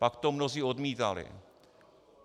Pak to mnozí odmítali.